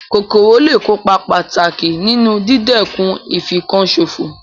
Kòkòrò lé è kópa pàtàkì nínu dídẹ̀kun ìfinkan sòfò